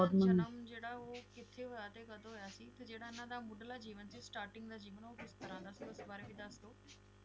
ਜਨਮ ਜਿਹੜਾ ਓਹ ਕਿੱਥੇ ਹੋਇਆ ਤੇ ਕਦੋਂ ਹੋਇਆ ਸੀ ਤੇ ਜਿਹੜਾ ਇਹਨਾਂ ਦਾ ਮੁਦਲਾ ਜੀਵਨ Starting ਦਾ ਜੀਵਨ ਓਹ ਕਿਸ ਤਰ੍ਹਾਂ ਦਾ ਸੀ ਓਹਦੇ ਵਾਰੇ ਵੀ ਦੱਸਦੋ